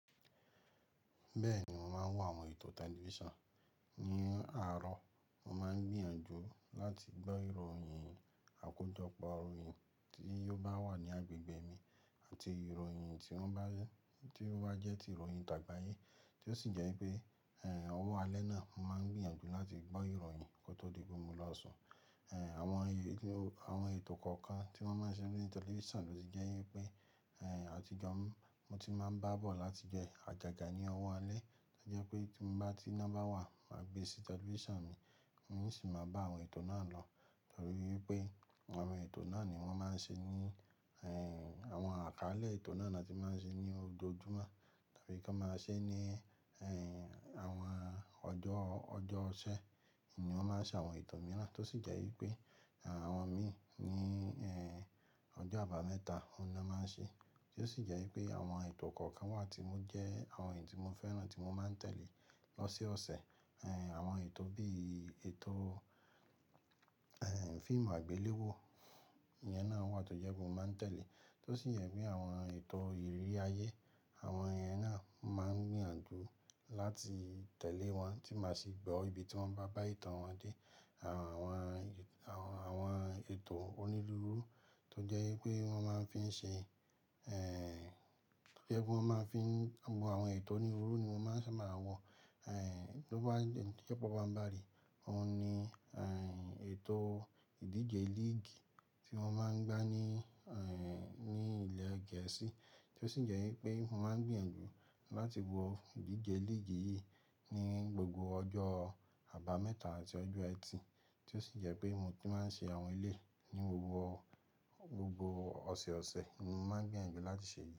Bẹ́ẹ̀ ni, mo máa ń wo àwọn ètò tẹlifíṣàn. Ni aarọ, mo máa ń gbìyànjú láti gbọ́ ìròyìn àkójọpọ̀ ìròyìn tí yóò wà ní agbègbè mi àti ìròyìn tí wọ́n bá yé, tí ó bá jẹ́ ti ìròyìn tàgbà yé, tí ó sì jẹ́ wípé, ẹ̀, ọwọ́ alẹ́ náà, mo máa ń gbìyànjú láti gbọ́ ìròyìn kó tó di gbogbo lọ́sàn-án. Àwọn ètò, àwọn ètò kọ̀ọ̀kan tí wọ́n máa ń ṣe ní tẹlifíṣàn ló sì jẹ́ wípé, àtijọ́ mi, mo ti máa ń bá bọ̀ láti jẹ àjàjà ní ọwọ́ alẹ́, tó jẹ́ pé tí mo bá ti nọ́mbà wà, màá gbe sí tẹlifíṣàn mi, mo sì máa bá àwọn ètò náà lọ, torí wípé àwọn ètò náà ni wọ́n máa ń ṣe ní, ẹ́ẹ̀, àwọn àkálẹ̀ ètò náà ni a ti máa ń ṣe ní ojojúmọ́ tàbí kí wọ́n máa ṣe ní, ẹ́ẹ̀, àwọn ọjọ́, ọjọ́ ọ̀sẹ́ ni wọ́n máa ń ṣe àwọn ètò mìíràn, tó sì jẹ́ wípé àwọn mi ní, ẹ́ẹ̀, ọjọ́ àbámẹ́ta ni wọ́n máa ń ṣe, tí ó sì jẹ́ wípé àwọn ètò kọ̀ọ̀kan wà tí mo jẹ́, àwọn ètò tí mo fẹ́ràn tí mo máa ń tẹ̀lé lọ́sẹ̀ ọ̀sẹ̀. Àwọn ètò bí ètò, fíìmù àgbéléwò, ìyẹn náà wà tó jẹ́ pé mo máa ń tẹ̀lé, tó sì jẹ́ pé àwọn ètò ìrí ayé, àwọn ìyẹn náà, mo máa ń gbìyànjú láti tẹ̀lé wọn tí màá sì gbọ́ ibi tí wọ́n bá bá ìtàn wọn dé. Àwọn, àwọn ètò onílùúrú tó jẹ́ wípé wọ́n máa ń fi ṣe, ẹ́ẹ̀, kí ó tó jẹ́ wípé wọ́n máa ń fi wo àwọn ètò onílùúrú ni wọ́n ṣé, màá wọ, ẹ́ẹ̀, tó bá ń jẹ́ pé ọ̀pọ̀ bá ń bàrì, òun ni, ẹ́ẹ̀, ètò ìdíje league tí wọ́n máa ń gbá ní, ní ilẹ̀ Gẹ̀ẹ́sì tí ó sì jẹ́ wípé mo máa ń gbìyànjú láti wo ìdíje líìgì yìí ní gbogbo ọjọ́ àbámẹ́ta àti ọjọ́ ẹtì, tí ó sì jẹ́ pé mo ti máa ń ṣe àwọn ilé ní gbogbo, gbogbo ọ̀sẹ̀ẹ̀sẹ̀ ni mo máa ń gbìyànjú láti ṣe ìdíje.